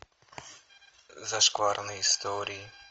зашкварные истории